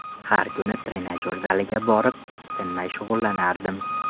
Har kuni trenajyor zaliga borib, tinmay shug‘ullanardim.